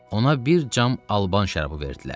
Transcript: Ona bir cam alban şərabı verdilər.